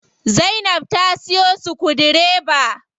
Zainab ta siyo sukudireba.